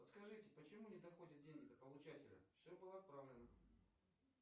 подскажите почему не доходят деньги до получателя все было отправлено